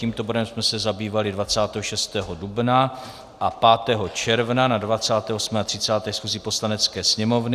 Tímto bodem jsme se zabývali 26. dubna a 5. června na 28. a 30. schůzi Poslanecké sněmovny.